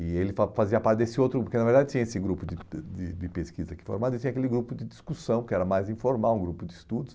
E ele fa fazia parte desse outro grupo, porque na verdade tinha esse grupo de de de pesquisa aqui formado, e tinha aquele grupo de discussão, que era mais informal, um grupo de estudos.